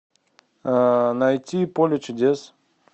найти поле чудес